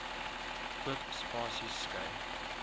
oop spasies skei